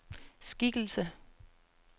skikkelse